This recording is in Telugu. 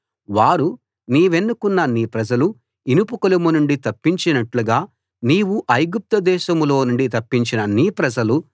వారు నీవెన్నుకున్న నీ ప్రజలు ఇనుప కొలిమి నుండి తప్పించినట్టుగా నీవు ఐగుప్తు దేశంలోనుండి తప్పించిన నీ ప్రజలు